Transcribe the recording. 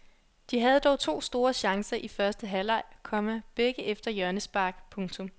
De havde dog to store chancer i første halvleg, komma begge efter hjørnespark. punktum